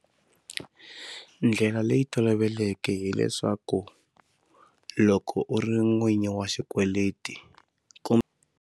Ndlela leyi toloveleke hileswaku loko u ri n'winyi wa xikweleti ku.